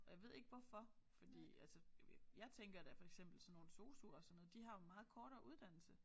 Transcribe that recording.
Og jeg ved ikke hvorfor fordi altså jo jeg tænker da for eksempel sådan nogle sosu'er og sådan noget de har jo meget kortere uddannelse